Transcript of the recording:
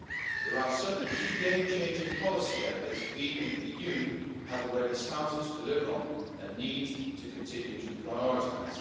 There are certain key game changing policy areas we in the EU have already started to deliver on and need to continue to prioritise.